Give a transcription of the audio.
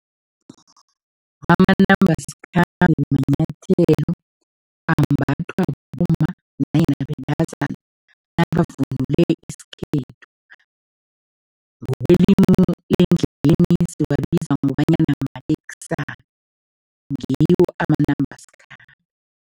Amanambasikhambe manyathelo ambathwa bomma nanyana bentazana nabavunule isikhethu, ngokwelimi lendleleni siwabiza ngobanyana mateksana, ngiwo amanambasikhambe.